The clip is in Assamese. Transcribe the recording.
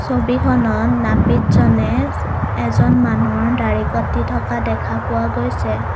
ছবিখনত নাপিতজনে এজন মানুহৰ দাৰি কাটি থকা দেখা পোৱা গৈছে।